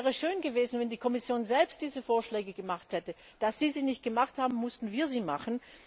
Es wäre schön gewesen, wenn die Kommission selbst diese Vorschläge gemacht hätte. Da Sie sie nicht gemacht haben, mussten wir sie machen.